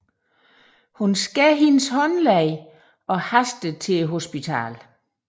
Hun skærer hendes håndled og haster til hospitalet